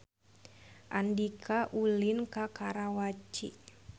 Andika ulin ka Karawaci